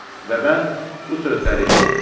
Və mən bu sözləri eşitdim.